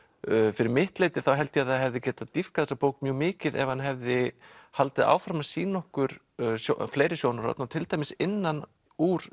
fyrir mitt leyti held ég að það hefði getað dýpkað þessa bók mjög mikið ef hann hefði haldið áfram að sýna okkur fleiri sjónarhorn og til dæmis innan úr